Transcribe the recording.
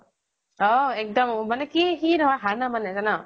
অহ এক্দম অ মানে কি সি নহয় হাৰ নামানে জানʼ?